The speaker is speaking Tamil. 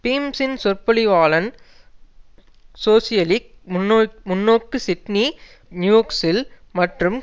பீம்சின் சொற்பொழிவாளன் சோசியலிக் முன்னோக்கு சிட்னி நியூக்சில் மற்றும்